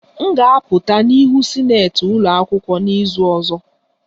M ga-apụta n'ihu sinetị ụlọ akwụkwọ n'izu ọzọ